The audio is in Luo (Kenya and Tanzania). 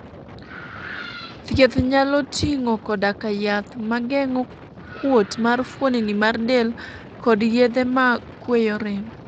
thieth nyalo ting'o koda ka yath mageng'o kuot mar fuoni mar del kod yedhe ma kweyo rem